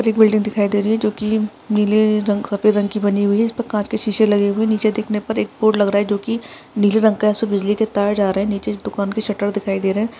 एक बिल्डिंग दिखाई दे रही है जो की नील रंग सफ़ेद रंग की बनी हुई है जिसपे कांच के शीशे लगे हुए है निचे देखने पर एक बोर्ड लग रहा है जो की नीले रंग का है सो बिजली के तार जा रहे है निचे दुकान के शटर दिखाई दे रहे है।